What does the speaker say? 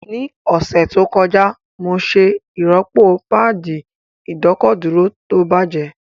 Ní ọ̀sẹ̀ tó kọjá, mo ṣe ìrọ́pò páàdì ìdọ́kọ̀dúró tó bàjẹ́